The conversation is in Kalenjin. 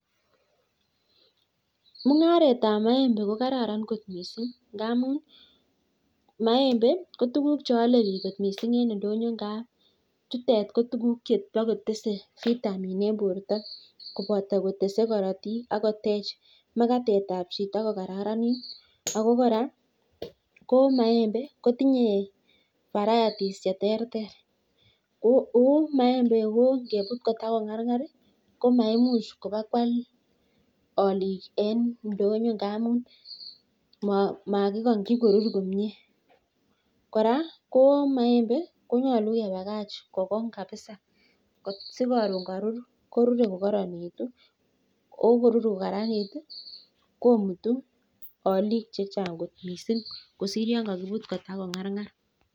Mungaretab moembe ko kararan kot missing ngamun moembe ko tuguk cheole biik kot missing ingap chutet ko tuguk chebakotese vitamin en borto kobotoo kotesee korotik ak kotech bortab chito kokaararanik ako kora ko miembe kotinye farayatis cheterter ko moembe ko ingebu kotakongarngar ko maimuch kobakwal olik en indonyo indamun makingokyi korur komie kora ko moembe komoche kokong jjabisa asikorun korur koruree kokoronekitu ko ingorur kokaranit ko mutu olijk chechang missing kisir yon kokibut kongarngar.